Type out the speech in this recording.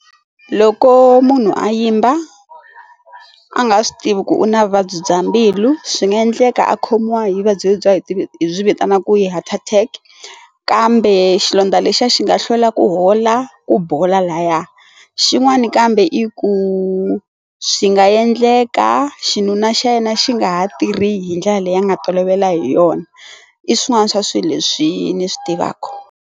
Loko munhu a yimba a nga swi tivi ku u na vuvabyi bya mbilu swi nga endleka a khomiwa hi vuvabyi bya hi ti byi vitana ku yi heart attack kambe xilondza lexiya xi nga hlwela ku hola la ku bola laya xin'wani kambe i ku swi nga endleka xinuna xa yena xi nga ha tirhi hi ndlela leyi nga tolovela hi yona i swin'wana swa swilo leswi ni swi tivaka.